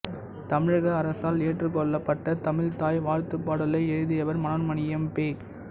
தமிழக அரசால் ஏற்றுக்கொள்ளப்பட்ட தமிழ்த்தாய் வாழ்த்துப் பாடலை எழுதியவர் மனோன்மணீயம் பெ